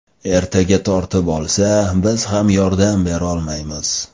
Ertaga tortib olsa, biz ham yordam berolmaymiz.